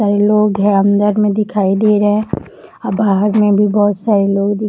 कई लोग अंदर में दिखाई दे रहें हैं और बाहर में भी बहुत सारे लोग दिख --